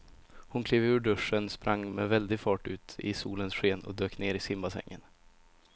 Hon klev ur duschen, sprang med väldig fart ut i solens sken och dök ner i simbassängen.